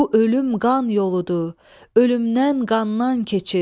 Bu ölüm qan yoludur, ölümdən qandan keçir.